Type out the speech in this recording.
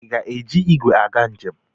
Ị ga-eji igwe aga njem?